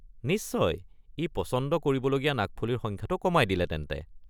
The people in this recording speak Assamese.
নিশ্চয়, ই পচন্দ কৰিবলগীয়া নাকফুলিৰ সংখ্যাটো কমাই দিলে তেন্তে।